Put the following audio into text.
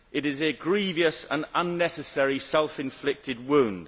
It is a grievous and unnecessary self inflicted wound.